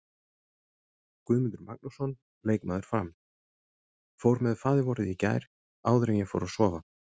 Guðmundur Magnússon, leikmaður Fram: Fór með faðirvorið í gær áður en ég fór að sofa.